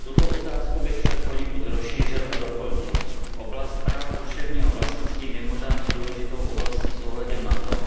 Tuto otázku bych však poněkud rozšířil a doplnil. Oblast práva duševního vlastnictví je mimořádně důležitou oblastí s ohledem na to,